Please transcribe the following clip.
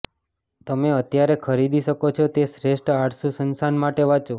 તમે અત્યારે ખરીદી શકો છો તે શ્રેષ્ઠ આળસુ સંસાન માટે વાંચો